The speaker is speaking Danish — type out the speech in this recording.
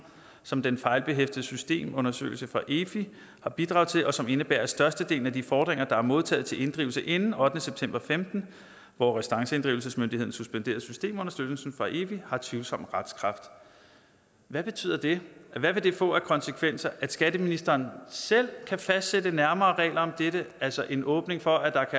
som den fejlbehæftede systemundersøgelse fra efi har bidraget til og som indebærer at størstedelen af de fordringer der er modtaget til inddrivelse inden ottende september og femten hvor restanceinddrivelsesmyndigheden suspenderede systemunderstøttelsen fra efi har tvivlsom retskraft hvad betyder det hvad vil det få af konsekvenser at skatteministeren selv kan fastsætte nærmere regler om dette altså en åbning for at der